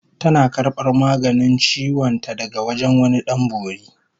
Tana karbar maganin ciwon ta daga wajen wani Dan Bori